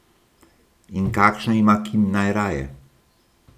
In kakšno ima Kim najraje?